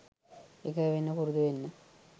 එකඟ වෙන්න පුරුදු වෙන්න